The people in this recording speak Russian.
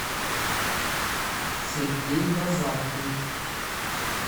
сергей базаркин